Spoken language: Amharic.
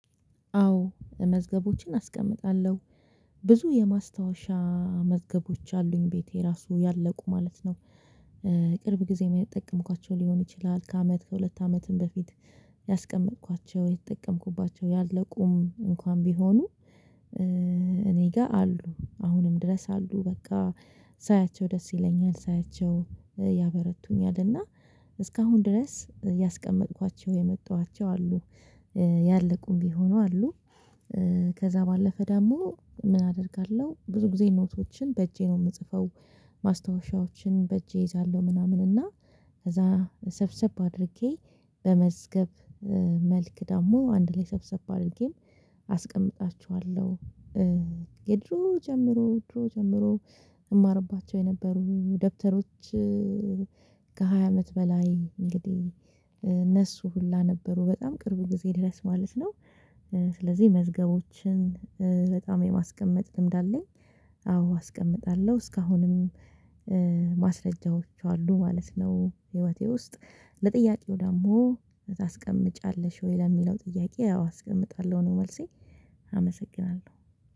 አዎ መዝገቦችን አስቀምጣለሁ ብዙ የማስታወሻ መዝገቦች አሉኝ ቤቴ ራሱ ያለቁ ማለት ነው። ቅርብ ጊዜ የሚጠቀምኳቸው ሊሆን ይችላል ከአመት ከሁለት አመትም በፊት ያስቀመጥኳቸው የተጠቀምኩባቸው ያለቁም እንኳን ቢሆኑ። እኔ ጋር አሉ አሁንም ድረስ አሉ። በቃ ሳያቸው ደስ ይለኛል ሳያቸው ያበረቱኛልና። እስካሁን ድረስ ያስቀመጥኳቸው የማጣኋቸው አሉ። ያለቁም ቢሆኑ አሉ። ከዛ ባለፈ ደግሞ ምን አደርጋለሁ ብዙ ጊዜ ኖቶችን በእጄ ነው የምጽፈው። ማስትወሻዎችን በእጄ እይዛለሁ ምናምን እና ከዛ ሰብሰብ አድርጌ በመዝገብ መልክ ደግሞ አንድ ላይ ሰብሰብ አድርጌም አስቀምጣችኋለሁ። የድሮ ጀምሮ ድሮ ጀምሮ እማርባቸው የነበሩ ደብተሮች። ከሃያ አመት በላይ እንግዲህ እነሱ ሁላ ነበሩ በጣም ቅርብ ጊዜ ድረስ ማለት ነው። ስለዚህ መዝገቦችን በጣም የማስቀመጥ ልምድ አለኝ። አዎ አስቀምጣለሁ እስካሁንም ማስረጃዎች አሉ ማለት ነው። ህይወቴ ውስጥ ለጥያቄው ደግሞ ታስቀምጫለሽ ወይ? ለሚለው ጥያቄ ያው አስቀምጣለሁ ነው መልሴ አመሰግናለሁ።